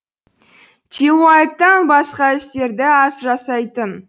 тилауаттан басқа істерді аз жасайтын